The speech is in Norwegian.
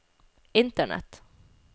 internett